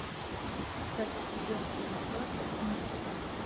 искать эпизод тридцать два элементарно